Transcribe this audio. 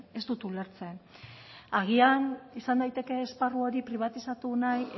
ez dut ulertzen agian izan daiteke esparru hori pribatizatu nahi